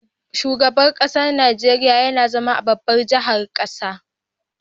Shugaban ƙasar Nigeria YAna zama a babbar jahar ƙasar